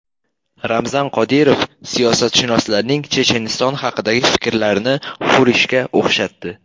Ramzan Qodirov siyosatshunoslarning Checheniston haqidagi fikrlarini hurishga o‘xshatdi.